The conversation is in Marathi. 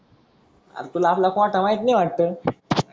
आर तुला आपला कोटा माहित नाही वाटत?